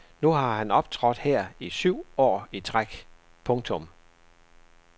Nu har han optrådt her i syv år i træk. punktum